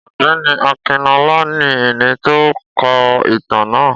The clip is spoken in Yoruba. Ọ̀gbẹ́ni Akinọlá, ní ẹni tó kọ ìtàn na.